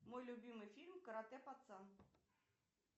мой любимый фильм каратэ пацан